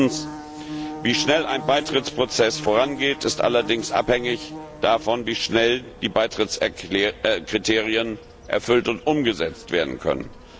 Und drittens Wie schnell ein Beitrittsprozess vorangeht, ist allerdings abhängig davon, wie schnell die Beitrittskriterien erfüllt und umgesetzt werden können.